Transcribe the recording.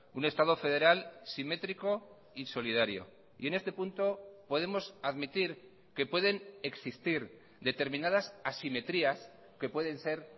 un estado federal simétrico y solidario y en este punto podemos admitir que pueden existir determinadas asimetrías que pueden ser